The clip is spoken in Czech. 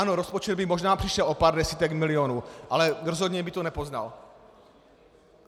Ano, rozpočet by možná přišel o pár desítek milionů, ale rozhodně by to nepoznal.